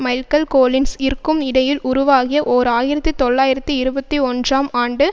மைல்க்கல் Collins இற்கும் இடையில் உருவாகிய ஓர் ஆயிரத்தி தொள்ளாயிரத்தி இருபத்தி ஒன்றாம் ஆண்டு